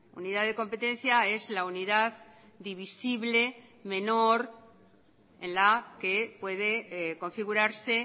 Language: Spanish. unidad de competencia es la unidad divisible menor en la que puede configurarse